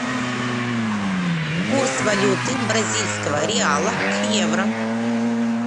курс валюты бразильского реала к евро